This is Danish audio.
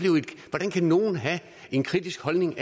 hvordan kan nogen have en kritisk holdning